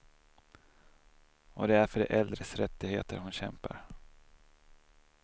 Och det är för de äldres rättigheter hon kämpar.